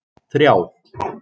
þrjá